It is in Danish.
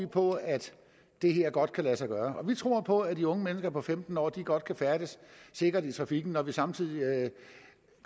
på at det her godt kan lade sig gøre vi tror på at de unge mennesker på femten år godt kan færdes sikkert i trafikken når vi samtidig